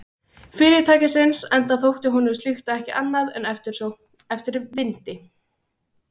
Fyrirtækisins, enda þótti honum slíkt ekki annað en eftirsókn eftir vindi.